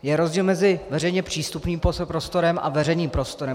Je rozdíl mezi veřejně přístupným prostorem a veřejným prostorem.